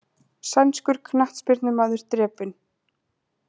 Sænskur knattspyrnumaður drepinn